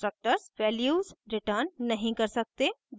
constructors values return नहीं कर सकते